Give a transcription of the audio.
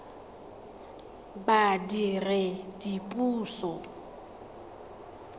badiredipuso